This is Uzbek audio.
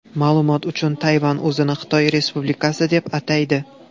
Ma’lumot uchun, Tayvan o‘zini Xitoy Respublikasi deb ataydi.